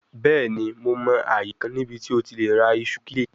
Bẹẹni Mo mọ aaye kan nibiti o ti le ra iṣu kile